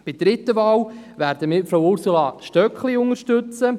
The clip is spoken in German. Bei der dritten Wahl werden wir Frau Ursula Stöckli unterstützen.